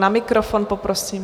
Na mikrofon, poprosím.